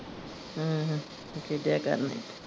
ਹਮ ਖੇਡਿਆ ਕਰਨੇ।